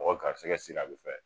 Mɔgɔ garisɛgɛ siri a bi fɛn